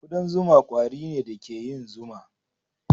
Kudan zuma ƙwari ne da ke yin zuma.